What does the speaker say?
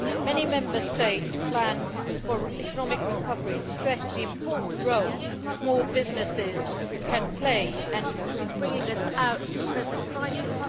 Many Member States' plans for economic recovery stress the important role small businesses can play in bringing us out of the present crisis.